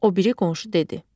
O biri qonşu dedi: